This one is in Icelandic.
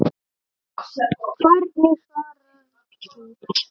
Hvernig svarar þú því?